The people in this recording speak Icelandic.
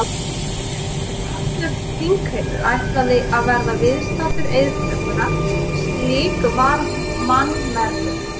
Svo virtist sem allur þingheimur ætlaði að verða viðstaddur eiðtökuna, slík var mannmergðin.